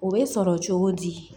O bɛ sɔrɔ cogo di